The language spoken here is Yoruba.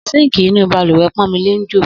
Síǹkì inú bàlùwẹ̀ Pọ́nmilé ń jò